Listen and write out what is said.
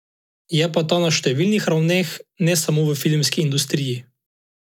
Je pa ta na številnih ravneh, ne samo v filmski industriji.